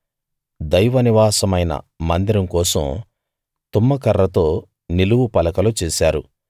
దైవ నివాసమైన మందిరం కోసం తుమ్మ కర్రతో నిలువు పలకలు చేశారు